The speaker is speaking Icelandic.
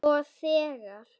Og þegar